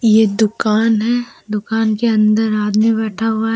ये दुकान है दुकान के अंदर आदमी बैठा हुआ है।